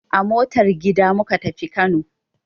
A motar gida muka tafi Kano.